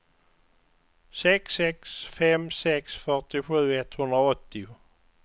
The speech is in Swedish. sex sex fem sex fyrtiosju etthundraåttio